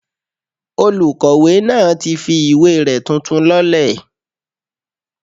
Olùkọ̀wé náà ti fi ìwé rẹ̀ tuntun lọ́lẹ̀